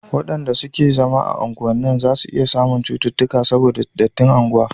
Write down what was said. wayanda suke zama a unguwannin zasu iya samun cuttutuka saboda dattin unguwa